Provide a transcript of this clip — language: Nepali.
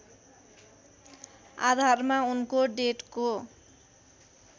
आधारमा उनको डेटको